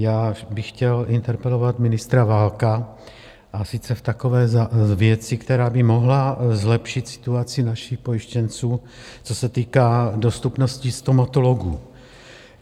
Já bych chtěl interpelovat ministra Válka, a sice v takové věci, která by mohla zlepšit situaci našich pojištěnců, co se týká dostupnosti stomatologů.